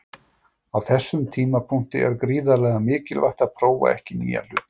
Á þessum tímapunkti er gríðarlega mikilvægt að prófa ekki nýja hluti.